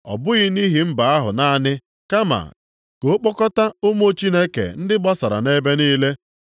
Ọ bụghị nʼihi mba ahụ naanị, kama, ka ọ kpọkọta ụmụ Chineke ndị gbasara nʼebe niile.